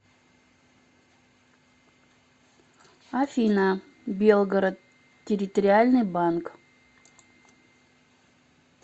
афина белгород территориальный банк